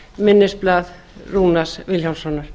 minnisblað rúnars vilhjálmssonar